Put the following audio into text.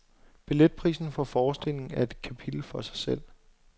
Billetprisen for forestillingen er et kapitel for sig selv.